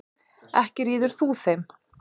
Ekki ríður þú þeim.